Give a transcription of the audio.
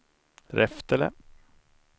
Reftele